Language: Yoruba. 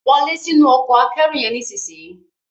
Wo lẹ sínú Ọkọ̀ akẹ́rù yen nísìsiyìí!